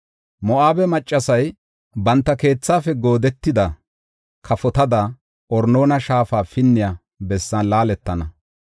Moo7abe maccasay banta keethafe goodetida kafotada Arnoona shaafa pinniya bessan laaletana.